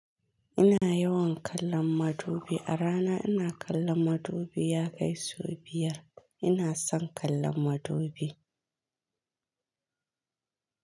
Ina yawan kallon madubi a rana. Ina kallon madubi ya kai sau biyar. Ina son kallon madubi.